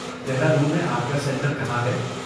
دہرادون میں آپ کا سنٹر کہاں ہے؟